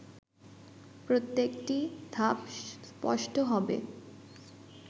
প্রত্যেকটি ধাপ স্পষ্ট হবে